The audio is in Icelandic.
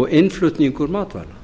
og innflutningur matvæla